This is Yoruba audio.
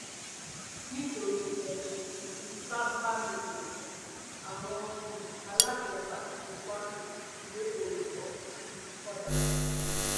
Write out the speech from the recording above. nítorí ẹsùn ìfipábánilòpọ àwọn um aláṣẹ fásitì kwásù lé olùkọ um kan dànù